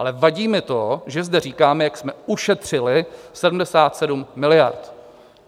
Ale vadí mi to, že zde říkáme, jak jsme ušetřili 77 miliard.